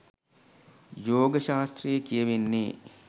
යෝග ශාස්ත්‍රයේ කියවෙන්නේ